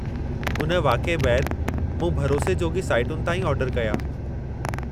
हुन वाक़िए बैदि, मूं भरोसे जोॻी साइटुनि तां ई ऑर्डर कया।